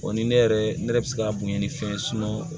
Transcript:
O ni ne yɛrɛ ne ne yɛrɛ bɛ se ka bonya ni fɛn